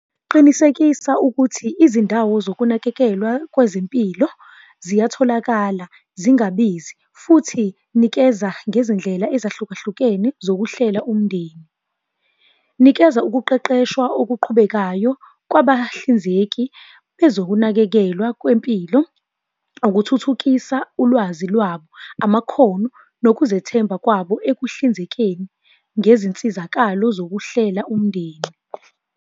Qinisekisa ukuthi izindawo zokunakekelwa kwezempilo ziyatholakala, zingabizi, futhi nikeza ngezindlela ezahluka hlukene zokuhlela umndeni. Nikeza ukuqeqeshwa okuqhubekayo kwabahlinzeki kwezokunakekelwa kwempilo, ukuthuthukisa ulwazi lwabo, amakhono, nokuzethemba kwabo ekuhlinzekeni ngezinsizakalo zokuhlela umndeni.